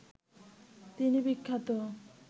তিনি বিখ্যাত